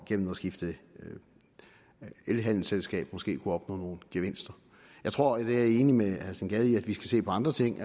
gennem at skifte elhandelsselskab måske at opnå nogle gevinster jeg tror at jeg er enig med herre steen gade i at vi skal se på andre ting